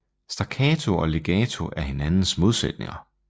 Staccato og legato er hinandens modsætninger